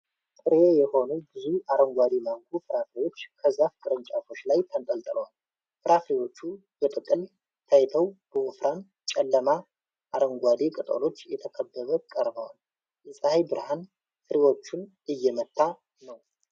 ጥሬ የሆኑ ብዙ አረንጓዴ ማንጎ ፍራፍሬዎች ከዛፍ ቅርንጫፎች ላይ ተንጠልጥለዋል። ፍራፍሬዎቹ በጥቅል ታይተው በወፍራም፣ ጨለማ አረንጓዴ ቅጠሎች ተከበው ቀርበዋል። የፀሐይ ብርሃን ፍሬዎቹን እየመታ ነው።